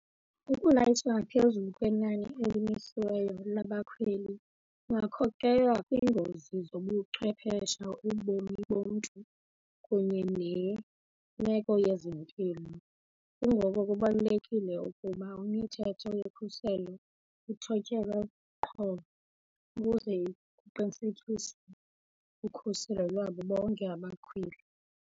Ukulayitsha ngaphezulu kwenani elimisiweyo labakhweli kungakhokhelela kwiingozi zobuchwephesha, ubomi bomntu kunye nemeko yezempilo. Kungoko kubalulekile ukuba imithetho yokhuselo ithotyelwe qho ukuze kuqinisekiswe ukhuselo lwabo bonke abakhweli.